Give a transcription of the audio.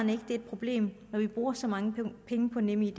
det er et problem når vi bruger så mange penge på nemid at